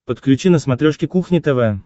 подключи на смотрешке кухня тв